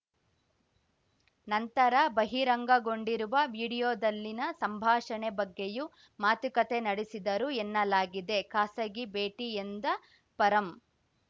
ನಂತರ ಬಹಿರಂಗಗೊಂಡಿರುವ ವಿಡಿಯೋದಲ್ಲಿನ ಸಂಭಾಷಣೆ ಬಗ್ಗೆಯೂ ಮಾತುಕತೆ ನಡೆಸಿದರು ಎನ್ನಲಾಗಿದೆ ಖಾಸಗಿ ಭೇಟಿ ಎಂದ ಪರಂ